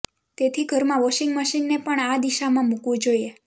તેથી ઘરમાં વોશિંગ મશીનને પણ આ દિશામાં મુકવુ જોઈએ